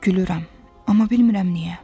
Gülürəm, amma bilmirəm niyə.